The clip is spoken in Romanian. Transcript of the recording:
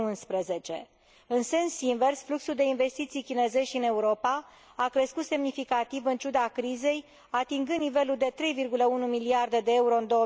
2011. În sens invers, fluxul de investiții chinezești în Europa a crescut semnificativ, în ciuda crizei, atingând nivelul de 3,1 miliarde de euro în